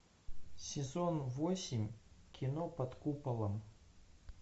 сезон восемь кино под куполом